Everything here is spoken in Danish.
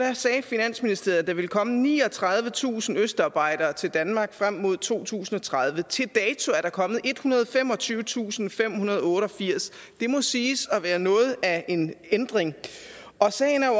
sagde finansministeriet at der ville komme niogtredivetusind østarbejdere til danmark frem mod to tusind og tredive til dato er der kommet ethundrede og femogtyvetusindfemhundrede og otteogfirs det må siges at være noget af en ændring og sagen er jo